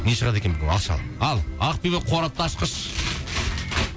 не шығады екен бұл алшы ал ал ақбибі қорапты ашқыш